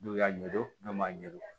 N'u y'a ɲɛdɔn n'u m'a ɲɛdɔn